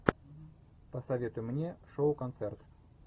посоветуй мне шоу концерт